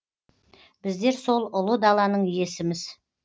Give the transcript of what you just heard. біздер сол ұлы даланың иесіміз